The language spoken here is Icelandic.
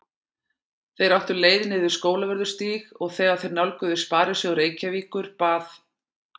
Þeir áttu leið niður Skólavörðustíg og þegar þeir nálguðust Sparisjóð Reykjavíkur bað